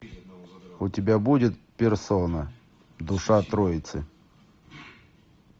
у тебя будет персона душа троицы